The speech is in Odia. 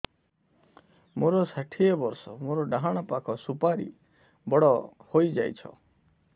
ମୋର ଷାଠିଏ ବର୍ଷ ମୋର ଡାହାଣ ପାଖ ସୁପାରୀ ବଡ ହୈ ଯାଇଛ